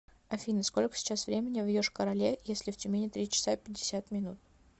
афина сколько сейчас времени в йошкар оле если в тюмени три часа пятьдесят минут